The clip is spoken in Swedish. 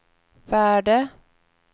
värde